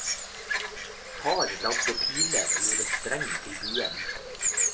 Far lagde piler og gjorde streng til buen.